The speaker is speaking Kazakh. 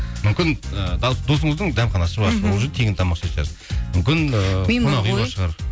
мүмкін ы досыңыздың дәмханасы бар мхм сол жерде тегін тамақ ішетін шығарсыз мүмкін